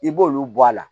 I b'olu bɔ a la